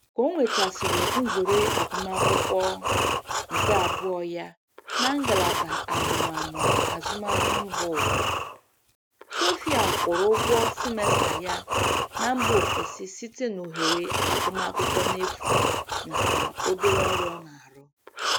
Ka o nwetasịrị nzere agụmakwụkwọ nke abụọ ya na ngalaba amụmamụ azụmahịa mbaụwa, Sophia kwụrụ ụgwọ simesta ya na mba ofesi site n'ohere agụmakwụkwọ n'efu nakwa obere ọrụ ọ na-arụ